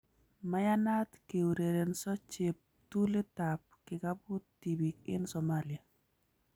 Maiyanat kourerenso cheptulit ab kikabut tibiik eng Somalia